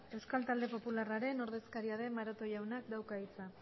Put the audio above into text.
euskal talde popularraren ordezkaria den maroto jaunak dauka hitza